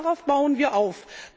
Darauf bauen wir auf.